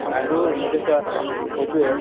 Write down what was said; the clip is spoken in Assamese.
আৰু এইটো চোৱা ইটোয়ে